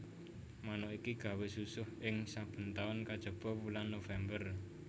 Manuk iki gawé susuh ing saben taun kajaba wulan November